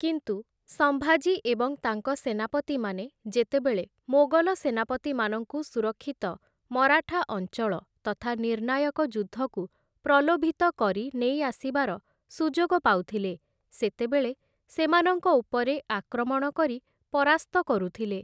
କିନ୍ତୁ, ସମ୍ଭାଜୀ ଏବଂ ତାଙ୍କ ସେନାପତିମାନେ ଯେତେବେଳେ ମୋଗଲ ସେନାପତିମାନଙ୍କୁ ସୁରକ୍ଷିତ ମରାଠା ଅଞ୍ଚଳ ତଥା ନିର୍ଣ୍ଣାୟକ ଯୁଦ୍ଧକୁ ପ୍ରଲୋଭିତ କରି ନେଇ ଆସିବାର ସୁଯୋଗ ପାଉଥିଲେ, ସେତେବେଳେ ସେମାନଙ୍କ ଉପରେ ଆକ୍ରମଣ କରି ପରାସ୍ତ କରୁଥିଲେ ।